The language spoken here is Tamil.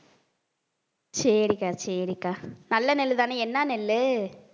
சரிக்கா சரிக்கா நல்ல நெல்லுதானே என்ன நெல்லு